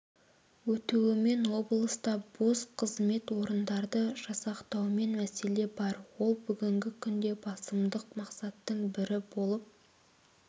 өтуімен облыста бос қызмет орындарды жасақтаумен мәселе бар ол бүгінгі күнде басымдық мақсаттың бірі болып